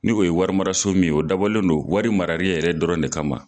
Ni'o ye wari mararaso min ye, o dabɔlen don wari marari yɛrɛ dɔrɔn de kama.